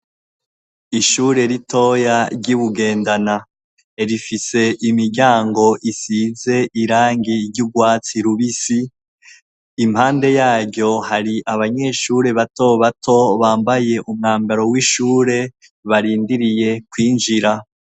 Ishure ritoya ry'iBugendana ,rifise imiryango isize irangi ry'ugwatsi rubisi, impande yaryo hari abanyeshure bato bato bambaye umwambaro w'ishure ,barindiriye kw'injira.